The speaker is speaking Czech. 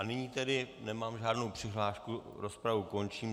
A nyní tedy nemám žádnou přihlášku, rozpravu končím.